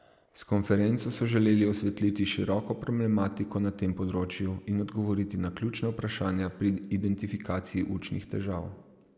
S konferenco so želeli osvetliti široko problematiko na tem področju in odgovoriti na ključna vprašanja pri identifikaciji učnih težav.